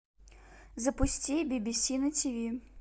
запусти би би си на ти ви